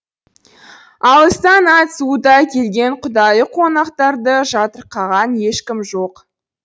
алыстан ат суыта келген құдайы қонақтарды жатырқаған ешкім жоқ